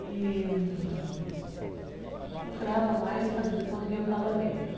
E procurava mais fazer de conta que eu não estava vendo, né?